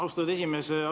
Austatud esimees!